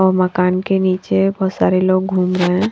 और मकान के नीचे बहुत सारे लोग घूम रहे है।